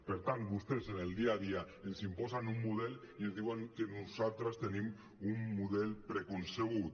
per tant vostès en el dia a dia ens imposen un model i ens diuen que nosaltres tenim un model preconcebut